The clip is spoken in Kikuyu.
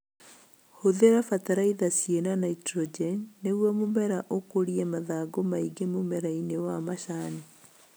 Hũthira bataraitha ciĩna naitrogeni nĩguo mũmera ũkũrie mathangũ maingĩ mũmerainĩ wa macani